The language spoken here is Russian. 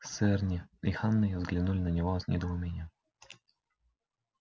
с эрни и ханной взглянули на него с недоумением